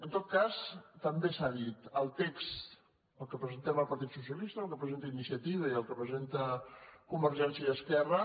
en tot cas també s’ha dit el text el que presentem el partit socialista el que presenta iniciativa i el que pre·senten convergència i esquerra